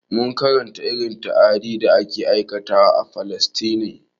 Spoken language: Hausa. Mun karanta irin ta'adin da ake aikatawa a falastine